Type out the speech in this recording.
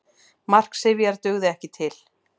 Mark Sifjar dugði ekki til